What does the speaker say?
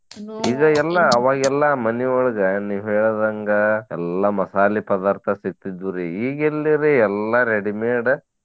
ಎಲ್ಲಾ ಅವಾಗೆಲ್ಲಾ ಮನಿಯೊಳಗ ನೀವ್ ಹೇಳಿದಂಗ ಎಲ್ಲಾ ಮಾಸಾಲಿ ಪದಾರ್ಥ ಸಿಗ್ತಿದ್ವುರಿ ಈಗೆಲ್ಲಿರಿ ಎಲ್ಲಾ readymade .